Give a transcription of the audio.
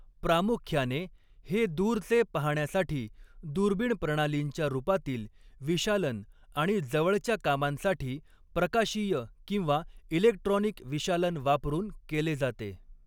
प्रामुख्याने, हे दूरचे पाहण्यासाठी दुर्बीण प्रणालींच्या रूपातील विशालन आणि जवळच्या कामांसाठी प्रकाशीय किंवा इलेक्ट्रॉनिक विशालन वापरून केले जाते.